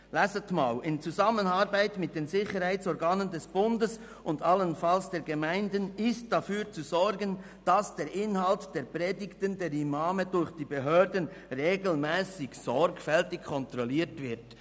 Lesen Sie einmal: «In Zusammenarbeit mit den Sicherheitsorganen des Bundes und allenfalls der Gemeinden ist dafür zu sorgen, dass der Inhalt der Predigten der Imame durch die Behörden regelmässig sorgfältig kontrolliert wird.